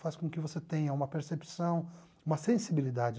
Faz com que você tenha uma percepção, uma sensibilidade.